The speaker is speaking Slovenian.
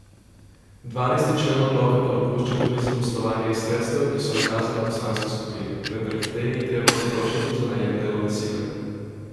Dvanajsti člen odloka pa dopušča tudi zaposlovanje iz sredstev, ki so nakazana poslanski skupini, vendar jih tej ni treba potrošiti za najem delovne sile.